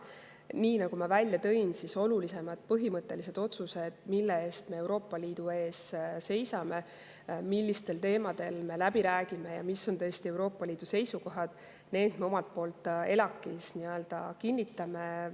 Nii nagu ma välja tõin, olulisemad põhimõttelised otsused, mille eest me Euroopa Liidus seisame, millistel teemadel me läbi räägime ja mis on tõesti Euroopa Liidu seisukohad, me omalt poolt ELAK‑is läbi räägime ja need me kinnitame.